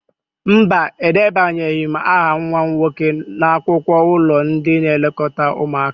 Mba, edebanyeghi m aha nwa m nwoke n'akwụkwọ ụlọ ndị nlekọta ụmụaka